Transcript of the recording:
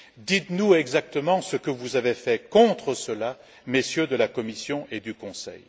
Dites nous exactement ce que vous avez fait contre cela, Messieurs de la Commission et du Conseil.